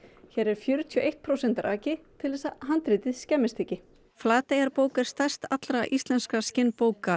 hér er fjörutíu og eitt prósent raki til þess að handritið skemmist ekki Flateyjarbók er stærst allra íslenskra